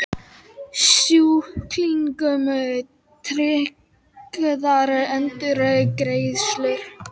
Sjúklingum tryggðar endurgreiðslur